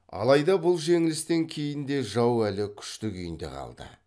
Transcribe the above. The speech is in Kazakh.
алайда бұл жеңілістен кейін де жау әлі күшті күйінде қалды